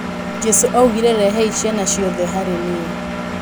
Jesu augire rehei ciana ciothe harĩ niĩ.